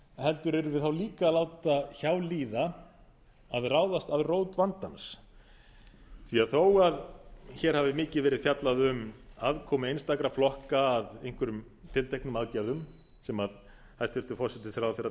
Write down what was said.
heldur yrðum við þá líka að láta hjá líða að ráðast að rót vandans því þó að hér hafi mikið verið fjallað um aðkomu einstakra flokka að einhverjum tilteknum aðgerðum sem hæstvirtur forsætisráðherra